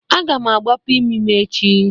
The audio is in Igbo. Agam agbapụ imi m echi.